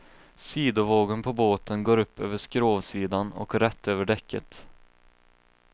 Sidovågen på båten går upp över skrovsidan och rätt över däcket.